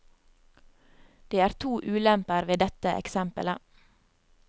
Det er to ulemper ved dette eksemplet.